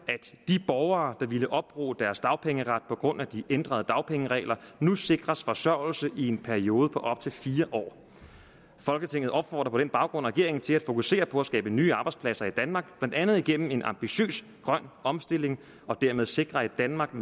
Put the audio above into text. at de borgere der ville opbruge deres dagpengeret på grund af de ændrede dagpengeregler nu sikres forsørgelse i en periode på op til fire år folketinget opfordrer på den baggrund regeringen til at fokusere på at skabe nye arbejdspladser i danmark blandt andet igennem en ambitiøs grøn omstilling og dermed sikre et danmark